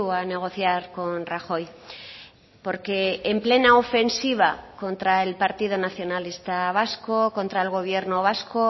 a negociar con rajoy porque en plena ofensiva contra el partido nacionalista vasco contra el gobierno vasco